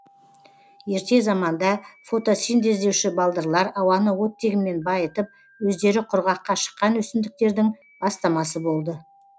ерте заманда фотосинтездеуші балдырлар ауаны оттегімен байытып өздері құрғаққа шыққан өсімдіктердің бастамасы болды